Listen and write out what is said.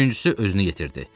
Üçüncüsü özünü yetirdi.